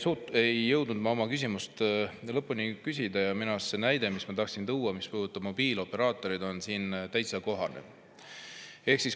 Kahjuks ei jõudnud ma oma küsimust lõpuni küsida, aga minu arust see näide, mis ma tahtsin tuua ja mis puudutab mobiilioperaatoreid, on siin täitsa kohane.